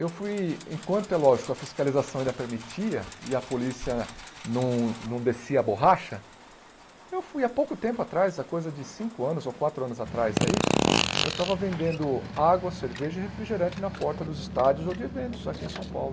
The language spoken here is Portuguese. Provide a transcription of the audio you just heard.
Eu fui, enquanto é lógico, a fiscalização ainda permitia e a polícia não não descia a borracha, eu fui há pouco tempo atrás, há coisa de cinco anos ou quatro anos atrás aí, eu estava vendendo água, cerveja e refrigerante na porta dos estádios ou de eventos aqui em São Paulo.